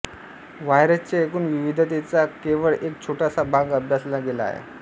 व्हायरसच्या एकूण विविधतेचा केवळ एक छोटासा भाग अभ्यासला गेला आहे